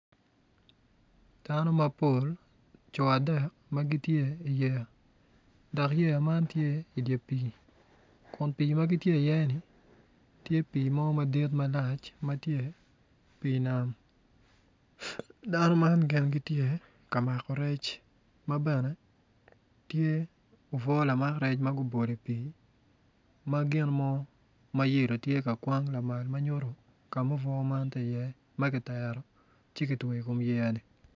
Dano mapol co dek ma gitye i yeya dok yeya man tye i dye pii kun pii ma gitye oye-ni tye pii malac pii nam dano man gitye ka mako rec ma bene tye lamak rec ma gubolo i pii ma gino mo tye ka kwang ma nyuto ka ma obwo man tye iye.